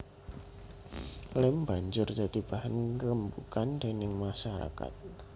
Lem banjur dadi bahan renbugan déning masarakat